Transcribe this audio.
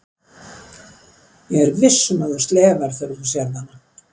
Ég er viss um að þú slefar þegar þú sérð hana.